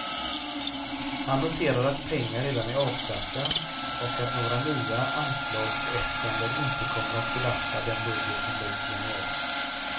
Han noterar att pengar redan är avsatta och att några nya anslagsäskanden inte kommer att belasta den budget som läggs i januari.